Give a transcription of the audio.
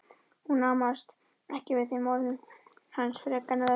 Hún amaðist ekki við þeim orðum hans frekar en öðrum.